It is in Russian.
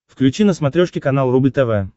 включи на смотрешке канал рубль тв